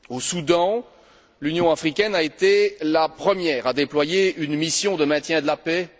Au Soudan, l'Union africaine a été la première à déployer une mission de maintien de la paix.